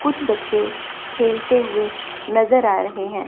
कुछ बच्चे खेलते हुए नजर आ रहे हैं।